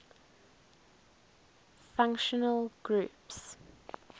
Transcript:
functional groups